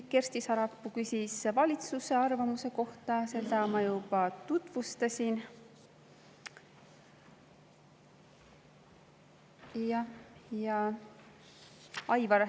Kersti Sarapuu küsis valitsuse arvamuse kohta, seda ma juba tutvustasin.